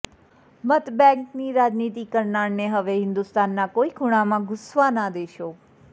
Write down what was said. મતબેંકની રાજનીતિ કરનારાને હવે હિંદુસ્તાનના કોઈ ખૂણામાં ઘૂસવા ના દેશો